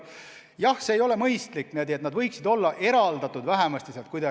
Jah, see ei ole mõistlik, eri pooled võiksid olla vähemasti kuidagi eraldatud.